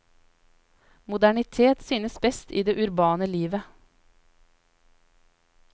Moderniteten synes best i det urbane livet.